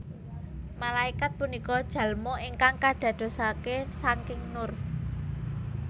Malaékat punika jalmo ingkang kadadosaké sangking nur